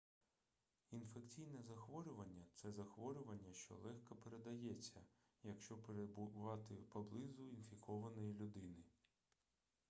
інфекційне захворювання це захворювання що легко передається якщо перебувати поблизу інфікованої людини